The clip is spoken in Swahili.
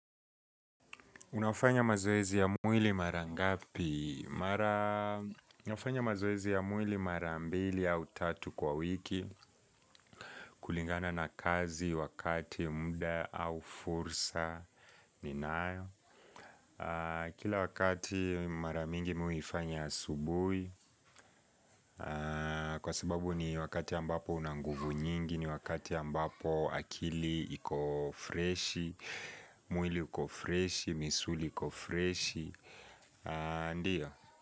Unafanya mazoezi ya mwili mara ngapi? Unafanya mazoezi ya mwili mara ambili au tatu kwa wiki kulingana na kazi wakati muda au fursa Kila wakati mara mingi mimi huifanya asubuhi kwa sababu ni wakati ambapo una nguvu nyingi ni wakati ambapo akili iko freshi mwili uko freshi, misuli iko freshi, ndiyo.